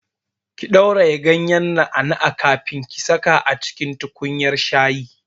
Ki ɗauraye ganyar na'a na'an kafin ki saka a tukunyar shayi!